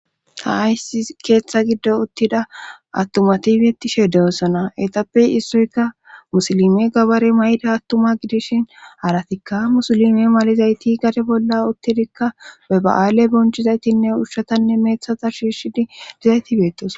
Ta aysi keeththa giddo uttida attumatifetishe dewossona etappey issoyka musilime gabare may7da attuma gidishin haratikka musulime malizayti gade bolla uttidikka baba7aale bonchizaytinne ushshatanne meethata shidhidi dizayti beetes.